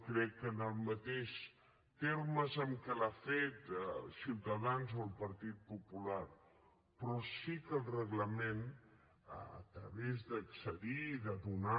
crec que no en els mateixos termes en què l’han fet ciutadans o el partit popular però sí que el reglament a través d’accedir i de donar